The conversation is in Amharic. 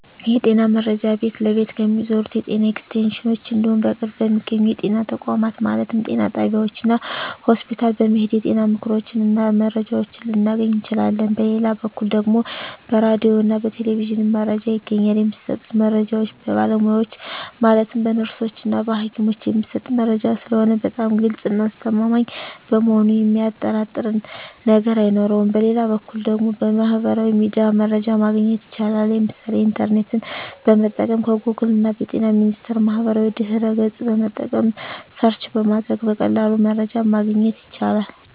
የጤና መረጃ ቤት ለቤት ከሚዞሩት የጤና ኤክስቴንሽኖች እንዲሁም በቅርብ በሚገኙ የጤና ተቋማት ማለትም ጤና ጣቢያዎች እና ሆስፒታል በመሔድ የጤና ምክሮችን እና መረጃዎችን ልናገኝ እንችላለን በሌላ በኩል ደግሞ በራዲዮ እና በቴሌቪዥንም መረጃ ይገኛል የሚሰጡት መረጃዎች በባለሙያዎች ማለትም በነርሶች እና በሀኪሞች የሚሰጥ መረጂ ስለሆነ በጣም ግልፅ እና አስተማማኝ በመሆኑ የሚያጠራጥር ነገር አይኖረውም በሌላ በኩል ደግሞ በሚህበራዊ ሚዲያ መረጃ ማግኘት ይቻላል የምሳሌ ኢንተርኔትን በመጠቀም ከጎግል እና በጤና ሚኒስቴር ማህበራዊ ድህረ ገፅን በመጠቀም ሰርች በማድረግ በቀላሉ መረጃን ማግኘት ይቻላል።